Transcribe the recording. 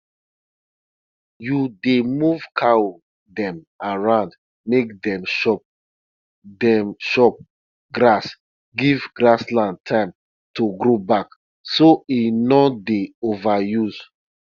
we dey put white ash for basil for basil bed every month make ant and dirty for ground no spoil am